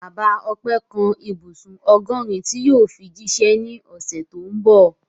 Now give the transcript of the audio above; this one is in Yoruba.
Bàbá Ọpẹ́ kan ibùsùn ọgọ́rin tí yóò fi jíṣẹ́ ní ọ̀sẹ̀ tó ń bọ̀.